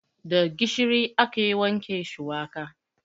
Da gishiri ake wanke shuwaka.